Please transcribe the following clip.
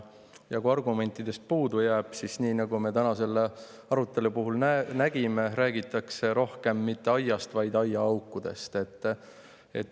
Ja kui argumentidest jääb puudu, siis – nii nagu me selle arutelu puhul täna nägime – räägitakse rohkem mitte aiast, vaid aiaaukudest.